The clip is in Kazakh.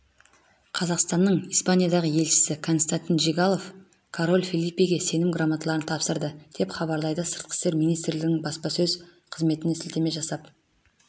қазақстанның испаниядағы елшісі константин жигалов король фелипеге сенім грамоталарын тапсырды деп хабарлайды сыртқы істер министрлігінің баспасөз қызметіне сілтеме жасап